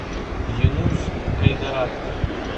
юнус кайдараков